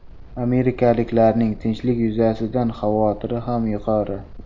Amerikaliklarning tinchlik yuzasidan xavotiri ham yuqori.